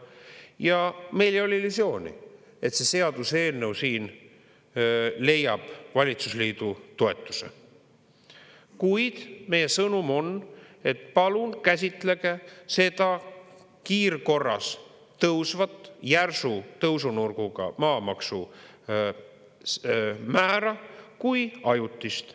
Ja meil ei ole illusiooni, et see seaduseelnõu siin leiab valitsusliidu toetuse, kuid meie sõnum on, et palun käsitlege seda kiirkorras tõusvat järsu tõusunurgaga maamaksumäära kui ajutist.